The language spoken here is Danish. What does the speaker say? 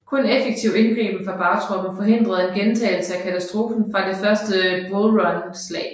Kun effektiv indgriben fra bagtroppen forhindrede en gentagelse af katastrofen fra det første Bull Run slag